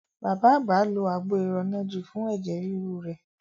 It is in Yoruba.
Bàbá àgbà lo àgbo iranaji fun ẹ̀jẹ̀ ríru rẹ̀.